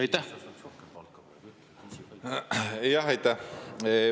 Aitäh!